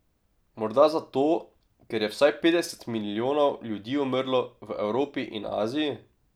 Morda zato, ker je vsaj petdeset milijonov ljudi umrlo v Evropi in Aziji?